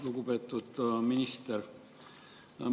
Lugupeetud minister!